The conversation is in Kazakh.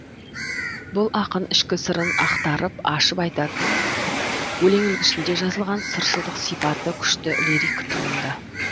бұл ақын ішкі сырын ақтарып ашып айтатын өлең үлгісінде жазылған сыршылдық сипаты күшті лирик туынды